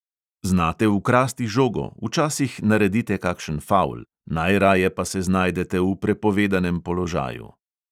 Znate ukrasti žogo, včasih naredite kakšen favl, najraje pa se znajdete v prepovedanem položaju.